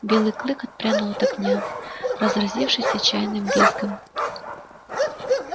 белый клык отпрянул от огня разразившись отчаянным визгом